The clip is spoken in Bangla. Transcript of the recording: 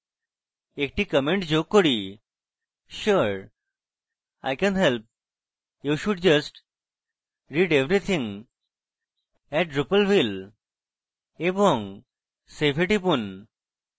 একটি comment যোগ করিsure i can help you should just read everything at drupalville! এবং save টিপুন